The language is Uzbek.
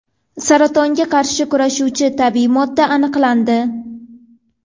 Saratonga qarshi kurashuvchi tabiiy modda aniqlandi.